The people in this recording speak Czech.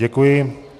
Děkuji.